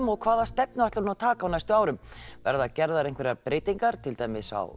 og hvaða stefnu ætlar hún taka á næstu árum verðar gerðar einhverjar breytingar til dæmis á